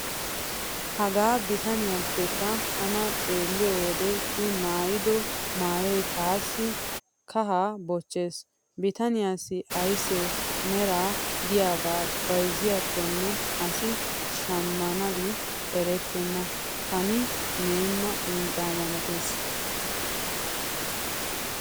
Hagaa bitaniyappekka tana xeelliyo wode i maayido maayoy taassi kahaa bochchiis. Bitaniyaassi aysse mera diyaagee bayzziyaakkonne asi shammanabi erettenna kani meenna uncca malatees.